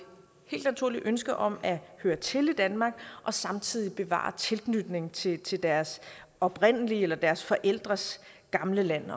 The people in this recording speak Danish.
helt naturligt ønske om at høre til i danmark og samtidig bevare tilknytningen til til deres oprindelige land eller deres forældres gamle land